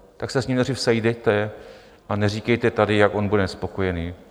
Tak se s ním nejdřív sejděte a neříkejte tady, jak on bude nespokojený.